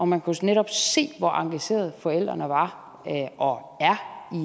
man kunne netop se hvor engagerede forældrene var og